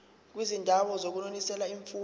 kwizindawo zokunonisela imfuyo